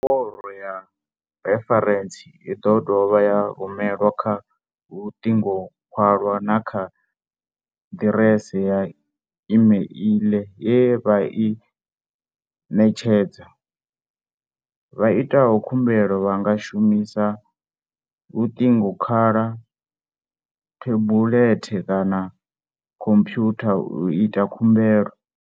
Nomboro ya referentsi i ḓo dovha ya rumelwa kha luṱingokhwalwa na kha ḓiresi ya imeiḽi ye vha i net shedza. Vha itaho khumbelo vha nga shu misa luṱingokhwalwa, thebulethe kana khomphwutha u ita khumbelo.